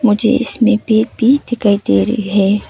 मुझे इसमें दिखाई दे रही है।